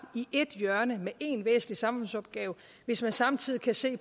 i ét hjørne med én væsentlig samfundsopgave hvis man samtidig kan se